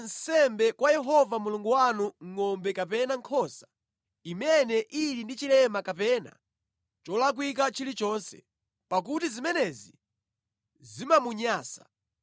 Musapereke nsembe kwa Yehova Mulungu wanu ngʼombe kapena nkhosa imene ili ndi chilema kapena cholakwika chilichonse, pakuti zimenezi zimamunyansa.